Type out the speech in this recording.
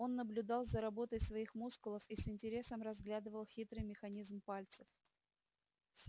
он наблюдал за работой своих мускулов и с интересом разглядывал хитрый механизм пальцев